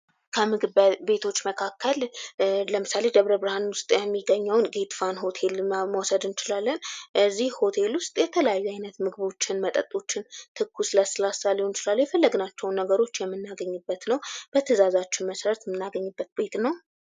ከምግብ ቤቶች መካከል ለምሳሌ ደብረ ብርሃን ውስጥ የሚገኘውን ጌት ፋን ሆቴል መውሰድ እንችላለን እዚህ ሆቴል ውስጥ የተለያዩ አይነት ምግቦችን መጠጦችን ትኩስ ለስላሳ ሊሆን ይችላል የፈለግናቸውን ነገሮች የምናገኝበት ነው። በትእዛዛችን መሰረት የምናገኝበት ቤት ነው።